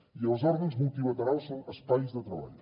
i els òrgans multilaterals són espais de treball